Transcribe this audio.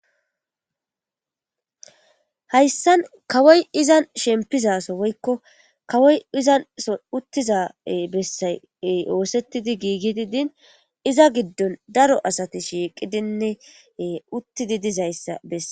hayssan kawoyi izanni shempizaso woykko kawoy izanso uthiza bessay oosethidi giigidi din iza giddoni daro asati shiiqidinne e uttidi dizayssa bessa